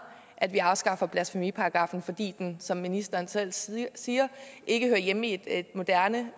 at vi afskaffer blasfemiparagraffen fordi den som ministeren selv siger siger ikke hører hjemme i et moderne